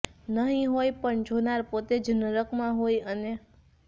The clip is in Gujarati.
નહીં હોય પણ જોનાર પોતે જ નરકમાં હોય અને